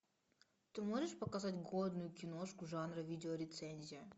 ты можешь показать годную киношку жанра видеорецензия